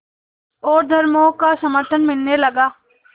और धर्मों का समर्थन मिलने लगा